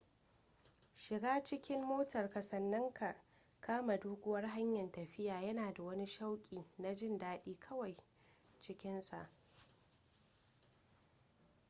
shiga cikin motarka sannan ka kama doguwar hanyar tafiya yana da wani shauƙi na jin dadi kawai cikinsa